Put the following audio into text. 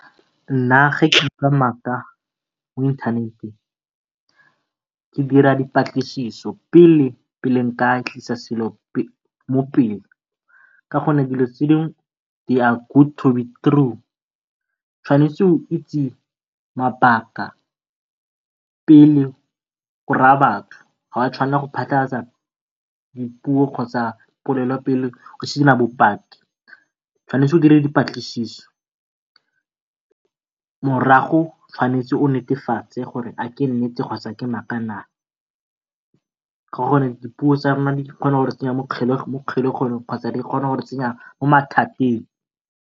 Nna ga ke utlwa maaka mo inthaneteng ke dira dipatlisiso pele, pele ke ka tlisa selo mo pele ka gonne dilo tse di dingwe they are good to be true. O tshwanetse o itse mabaka pele o raya batho, ga wa tshwanela go phatlhalatsa dipuo kgotsa poleleo pelo o sena bopaki. O tshwanetse o dire dipatlisiso, mogaro o tshwanetse go netefatse gore ke nnete kgotsa ke maaka naa, ka gore dipuo tsa rona di kgona go re tsenya mo kgolegelong kgotsa di kgona go re tsenya mo mathateng.